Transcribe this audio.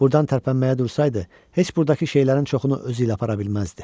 Buradan tərpənməyə dursaydı, heç burdakı şeylərin çoxunu özü ilə apara bilməzdi.